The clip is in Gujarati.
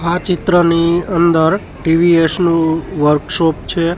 આ ચિત્રની અંદર ટી_વી_એસ નુ વર્કશોપ છે.